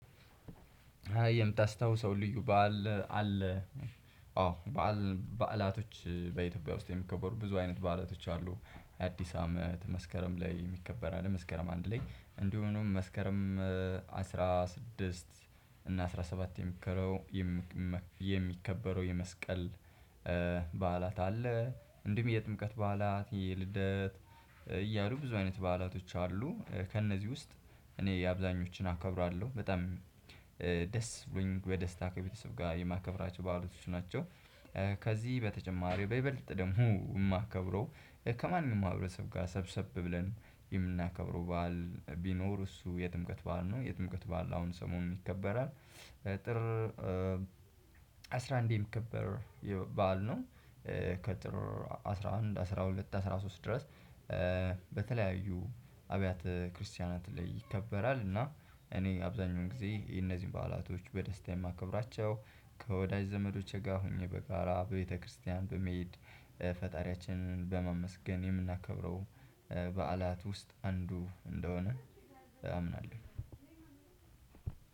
የምታስታውሰው ልዩ በዓል አለ? አዎ በዓል በዓላቶች በኢትዮጵያ ውስጥ የሚከበሩ ብዙ አይነት ባለቶች አሉ። አዲስ አመት መስከረም ላይ ይከበራል መስከረ አንድ ላይ እንዲሁም መስከረም አስራ ስድስት እና አስራ ሰባት የሚከረው የሚ የሚከበረው የመስቀል በዓላት አለ እንዲሁም የጥምቀት በዓላት የልደት እያሉ ብዙ አይነት በዓላቶች አሉ ከእነዚህ ውስጥ እኔ አብዛኞችን አከብራለሁ በጣም ደስ ብሎኝ ወደ ደስታ ከቤተሰብ ጋር የማከብራቸው ባህላቶች ናቸው። ከዚህ በተጨማሪው በይበልጥ ደግሞ የማከብረው ከማንም ማህብረሰብ ጋር ሰብሰብ ብለን የምናከብረው በዓል ቢኖር እሱ የጥምቀት ባል ነው የጥምቀት ባል አሁን ሰሞን ይከበራል ጥር አስራ አንዴ ከበር የባዕል ነው ከጥር አስራ አንድ አስራ ሁለት አስራ ሶስት ድረስ በተለያዩ አብያተ ክርስቲያናት ላይ ይከበራል እና እኔ አብዛኛውን ጊዜ የእነዚህን በዓላቶች በደስታ የማከብራቸው ከወዳጅ ዘመዶቼ ጋር ሆኜ በጋራ በቤተክርስቲያን በመሄድ ፈጣሪያችንን በማመስገን የምናከብረው በዓላት ውስጥ አንዱ እንደሆነ አምናለሁ።